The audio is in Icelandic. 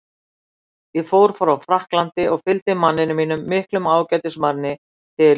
Ég fór frá Frakklandi og fylgdi manninum mínum, miklum ágætismanni, til